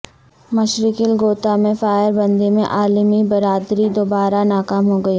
مشرقی الغوطہ میں فائر بندی میں عالمی برادری دوبارہ ناکام ہو گئی